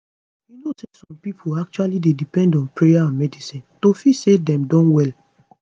you know say some pipo actually dey depend on prayer and medicine to feel say dem don well